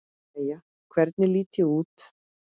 Jæja, hvernig lít ég út?